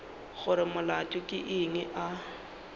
gore molato ke eng a